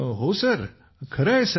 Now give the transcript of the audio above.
हो सर खरे आहे सर